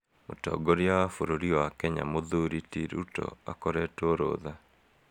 Mũtongoria wa bũrũri wa Kenya Mũthũri ti Ruto akoretwo rũtha.